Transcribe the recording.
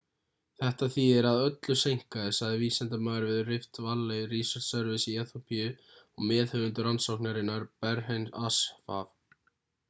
þetta þýðir að öllu seinkaði sagði vísindamaður við rift valley research service í eþíópíu og meðhöfundur rannsóknarinnar berhane asfaw